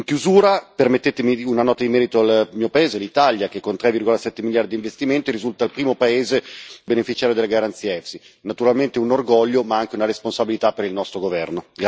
In chiusura, permettetemi una nota di merito al mio paese, l'Italia, che con 3,7 miliardi di investimento risulta il primo paese beneficiario della garanzia EFSI, naturalmente un orgoglio ma anche una responsabilità per il nostro governo.